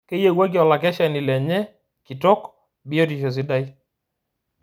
Keyiewuaki okakeshani lenye kitok biotisho sidai